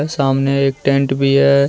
सामने एक टेंट भी है।